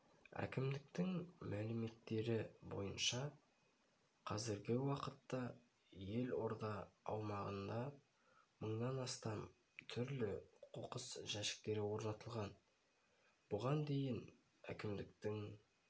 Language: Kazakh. әкімдіктің мәліметтері бойынша қазіргі уақытта елорда аумағында мыңнан астам түрлі қоқыс жәшіктері орнатылған бұған дейін әкімдіктің